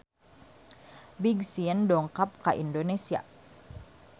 Big Sean dongkap ka Indonesia